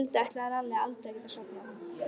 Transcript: Um kvöldið ætlaði Lalli aldrei að geta sofnað.